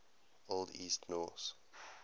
old east norse